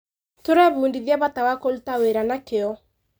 Tũrebundithia bata wa kũruta wĩra na kĩo.